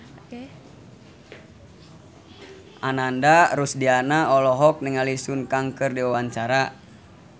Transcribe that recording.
Ananda Rusdiana olohok ningali Sun Kang keur diwawancara